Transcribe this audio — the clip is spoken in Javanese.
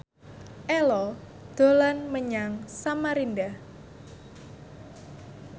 Ello dolan menyang Samarinda